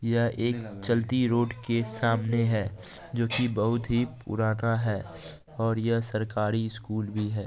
यह एक चलती रोड के सामने है जो की बहोत ही पुराना है और यह सरकारी स्कूल भी है।